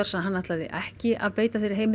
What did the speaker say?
að hann ætlaði ekki að beita þeirri heimild